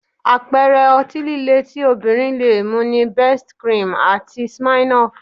Àpẹẹrẹ ọtí líle tí obìnrin lè mu ni Best cream àti Smirnoff